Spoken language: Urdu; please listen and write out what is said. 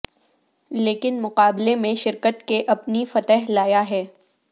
لیکن مقابلہ میں شرکت کے اپنی فتح لایا ہے